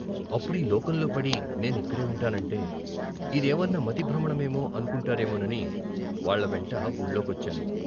అప్పుడీ లోకంలో పడినే నిక్కడే ఉంటానంటే "ఇదేవన్నా మతి భ్రమణమేమో" అనుకుంటారేమోనని వాళ్ళవెంట వూళ్ళో కొచ్చాను.